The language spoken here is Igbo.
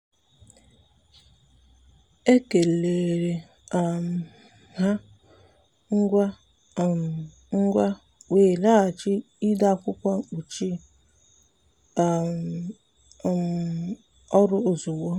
ekeleere um m ha ngwa um ngwa wee laghachi ide akwụkwọ mkpuchi um ọrụ ozugbo.